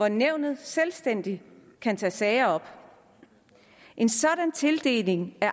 at nævnet selvstændigt kan tage sager op en sådan tildeling af